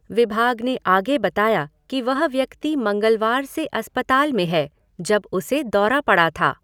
विभाग ने आगे बताया कि वह व्यक्ति मंगलवार से अस्पताल में है, जब उसे दौरा पड़ा था।